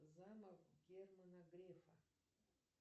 замок германа грефа